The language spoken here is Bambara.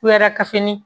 Kudarakafini